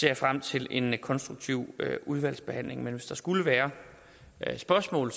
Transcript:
jeg frem til en konstruktiv udvalgsbehandling men hvis der skulle være spørgsmål